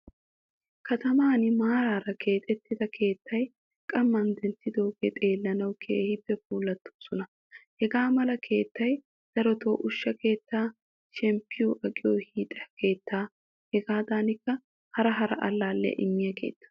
Kataman maarara keexettida keettay qamman denttidoge xeellanawu keehin puulattoosona. Hagaa mala keettay darotto ushsha keettaa, shemppi aqqiyo hiixxa keettaa hegadankka hara hara allaliyaa immiya keetta.